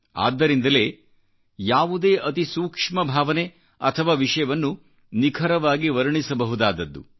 ಆದ್ದರಿಂದಲೇಯಾವುದೇ ಅತಿ ಸೂಕ್ಷ್ಮ ಭಾವನೆ ಅಥವಾ ವಿಷಯವನ್ನು ನಿಖರವಾಗಿ ವರ್ಣಿಸಬಹುದಾದದ್ದು